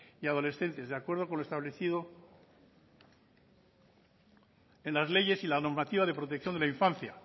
y adolescentes de acuerdo con lo establecido en las leyes y la normativa de protección de la infancia